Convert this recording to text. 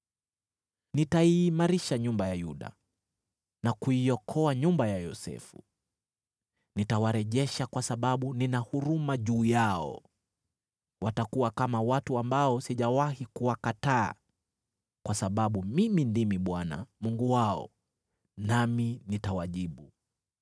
“Nitaiimarisha nyumba ya Yuda na kuiokoa nyumba ya Yosefu. Nitawarejesha kwa sababu nina huruma juu yao. Watakuwa kama watu ambao sijawahi kuwakataa kwa sababu mimi ndimi Bwana Mungu wao, nami nitawajibu.